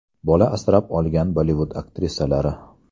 Bola asrab olgan Bollivud aktrisalari .